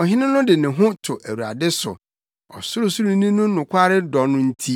Ɔhene no de ne ho to Awurade so; Ɔsorosoroni no nokware dɔ no nti,